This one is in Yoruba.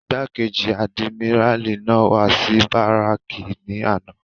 Igbákejì àdìmíràlí náà wá sí báràkì ní àná.